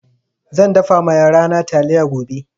Zan dafa ma yarana taliya gobe.